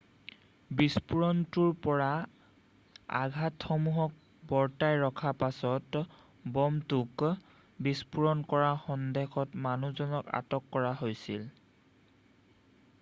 বিস্ফোৰণটোৰ পৰা আঘাটসমূহক বৰ্তাই ৰখাৰ পাছত ব'মটোক বিস্ফোৰণ কৰাৰ সন্দেহত মানুহজনক আটক কৰা হৈছিল৷